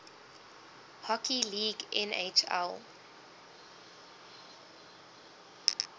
hockey league nhl